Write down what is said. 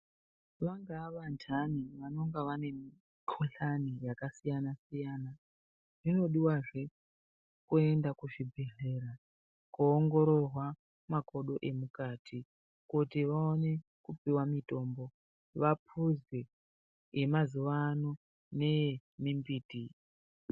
Vangaa vantani vanenga vane mukhuhlani yakasiyana siyana zvinodiwazve kuenda kuchibhedhlera koongororwa makodo emukati kuti vaone kupiwa mutombo vapuzwe yemazuwa ano neye mumbiti.